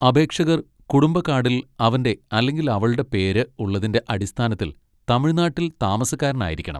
അപേക്ഷകർ കുടുംബ കാഡിൽ അവന്റെ അല്ലെങ്കിൽ അവളുടെ പേര് ഉള്ളതിന്റെ അടിസ്ഥാനത്തിൽ തമിഴ്നാട്ടിൽ താമസക്കാരനായിരിക്കണം.